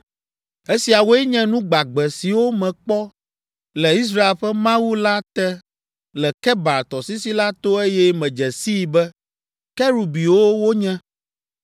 Esiawoe nye nu gbagbe siwo mekpɔ le Israel ƒe Mawu la te le Kebar tɔsisi la to eye medze sii be, kerubiwo wonye.